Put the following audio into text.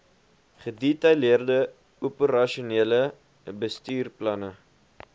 gedetaileerde operasionele bestuursplanne